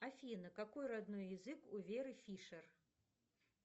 афина какой родной язык у веры фишер